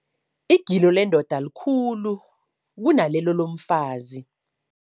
Igilo lendoda likhulu kunalelo lomfazi.